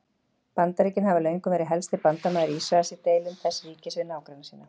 Bandaríkin hafa löngum verið helsti bandamaður Ísraels í deilum þess ríkis við nágranna sína.